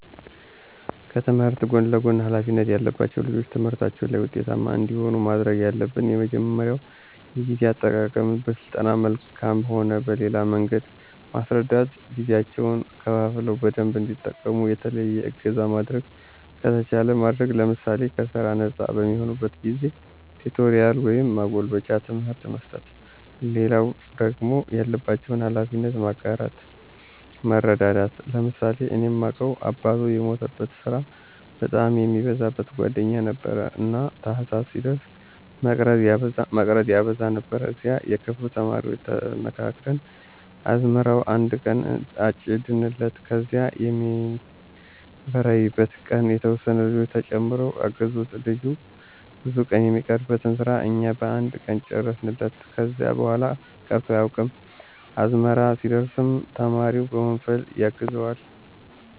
ከትምህርት ጎን ለጎን ሀላፊነት ያለባቸው ልጆች ትምህርታቸው ላይ ውጤታማ እንዲሆኑ ማድረግ ያለብን የመጀመሪያው የጊዜ አጠቃቀመን በስልጠና መልክም ሆነ በሌላ መንገድ መስረዳት ጊዜያቸውን ከፋፍለው በደንብ እንዲጠቀሙ፣ የተለየ እገዛ ማድረግ ከተቻለ ማድረግ ለምሳሌ ከስራ ነጻ በሚሆኑበት ጊዜ ቲቶሪያል ወይም ማጎልበቻ ትምህርት መስጠት። ሌላው ደግሞ ያለባቸውን ሀላፊነት መጋራት መረዳዳት። ለምሳሌ እኔ ማውቀው አባቱ የሞተበት ስራ በጣም የሚበዛበት ጓደኛችን ነበረ። እና ታህሳስ ሲደርስ መቅረት ያበዛ ነበር ከዚያ የክፍሉ ተማሪዎች ተመካክረን አዝመራውን አነድ ቀን አጨድንለት ከዚያ የሚበራይበት ቀንም የተወሰኑ ልጆች ተጨምረው አገዙት ልጁ ብዙ ቀን የሚቀርበትን ስራ እኛ በአንድ ቀን ጨረስንለት። ከዚያ በኋላ ቀርቶ አያውቅም። አዝመራ ሲደርስም ተማሪው በወንፈል ያግዘዋል።